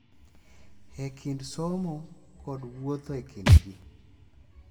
E kind somo kod wuotho ​​e kind ji